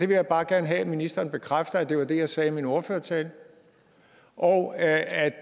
vil bare gerne have at ministeren bekræfter at det var det jeg sagde i min ordførertale og at at